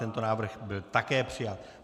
Tento návrh byl také přijat.